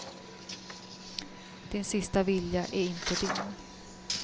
Din sista vilja är inte din.